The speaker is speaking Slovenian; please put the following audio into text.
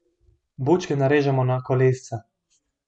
Bučke narežemo na kolesca.